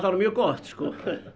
mjög gott sko